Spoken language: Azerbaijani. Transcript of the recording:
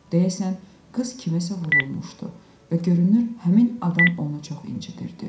Deyəsən, qız kimsəyə vurulmuşdu və görünür həmin adam onu çox incitirdi.